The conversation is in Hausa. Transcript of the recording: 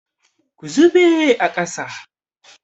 Ku zube a ƙasa!